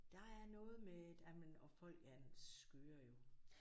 Der er noget med et jamen og folk er skøre jo